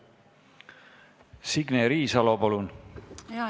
Signe Riisalo, palun!